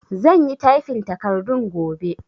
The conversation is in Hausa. Zan yi tyfin takardun gobe